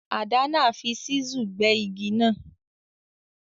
Adana fi chisel gbé igi náà